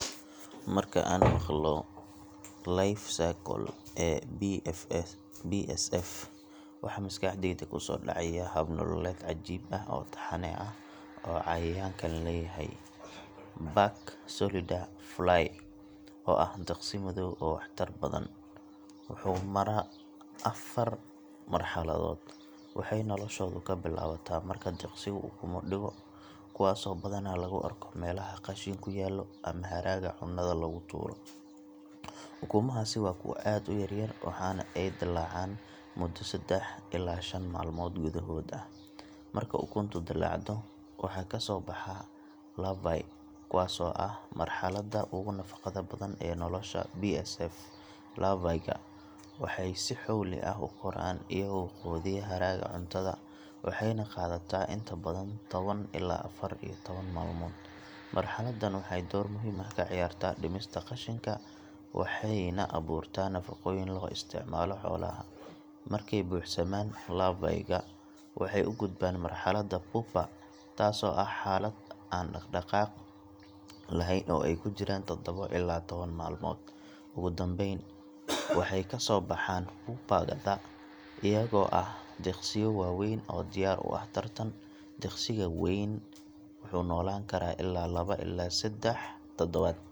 Marka aan maqlo life cycle ee BSF, waxa maskaxdayda kusoo dhacaya hab nololeed cajiib ah oo taxane ah oo cayayaankan leeyahay. Black Soldier Fly, oo ah diqsi madow oo waxtar badan, wuxuu maraa afar marxaladood. Waxay noloshoodu ka bilaabataa marka diqsigu ukumo dhigo, kuwaasoo badanaa lagu arko meelaha qashinku yaallo ama haraaga cunnada lagu tuuro. Ukumahaasi waa kuwo aad u yaryar, waxaana ay dillaacaan muddo saddex ilaa shan maalmood gudahood ah. Marka ukunta dillaacdo, waxaa kasoo baxa larvae, kuwaasoo ah marxaladda ugu nafaqada badan ee nolosha BSF. Larvae-ga waxay si xowli ah u koraan, iyagoo quudiya haraaga cuntada, waxayna qaadataa inta badan toban ilaa afar iyo toban maalmood. Marxaladdan waxay door muhiim ah ka ciyaartaa dhimista qashinka waxayna abuurtaa nafaqooyin loo isticmaalo xoolaha. Markay buuxsamaan, larvae-ga waxay u gudbaan marxaladda pupa, taasoo ah xaalad aan dhaqdhaqaaq lahayn oo ay ku jiraan toddobo ilaa toban maalmood. Ugu dambayn, waxay kasoo baxaan pupa-da iyagoo ah diqsiyo waaweyn oo diyaar u ah taran. Diqsiga weyn wuxuu noolaan karaa ilaa laba ilaa saddex toddobaad.